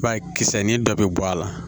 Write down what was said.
I b'a ye kisɛ ni dɔ bɛ bɔ a la